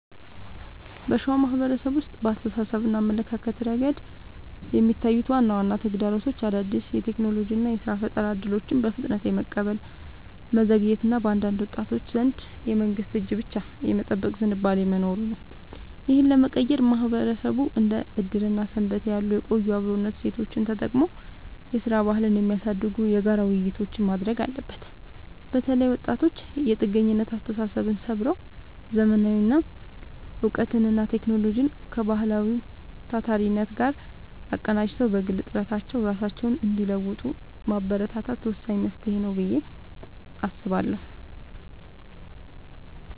በሸዋ ማህበረሰብ ውስጥ በአስተሳሰብና አመለካከት ረገድ የሚታዩት ዋና ዋና ተግዳሮቶች አዳዲስ የቴክኖሎጂና የሥራ ፈጠራ እድሎችን በፍጥነት የመቀበል መዘግየት እና በአንዳንድ ወጣቶች ዘንድ የመንግስትን እጅ ብቻ የመጠበቅ ዝንባሌ መኖሩ ነው። ይህንን ለመቀየር ማህበረሰቡ እንደ ዕድርና ሰንበቴ ያሉ የቆዩ የአብሮነት እሴቶቹን ተጠቅሞ የሥራ ባህልን የሚያሳድጉ የጋራ ውይይቶችን ማድረግ አለበት። በተለይ ወጣቶች የጥገኝነት አስተሳሰብን ሰብረው: ዘመናዊ እውቀትንና ቴክኖሎጂን ከባህላዊው ታታሪነት ጋር አቀናጅተው በግል ጥረታቸው ራሳቸውን እንዲለውጡ ማበረታታት ወሳኝ መፍትሄ ነው ብዬ አስባለሁ።